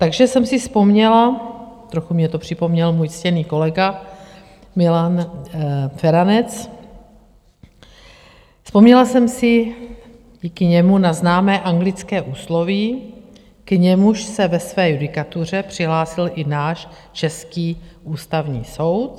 Takže jsem si vzpomněla - trochu mně to připomněl můj ctěný kolega Milan Feranec - vzpomněla jsem si díky němu na známé anglické úsloví, k němuž se ve své judikatuře přihlásil i náš český Ústavní soud.